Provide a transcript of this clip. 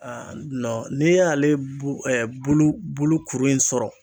Nɔn n'i y'ale bo e bolo bolo kuru in sɔrɔ